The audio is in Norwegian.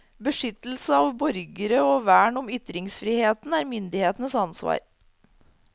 Beskyttelse av borgerne og vern om ytringsfriheten er myndighetenes ansvar.